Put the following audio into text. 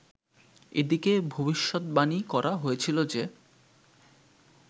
এদিকে ভবিষদ্বাণী করা হয়েছিল যে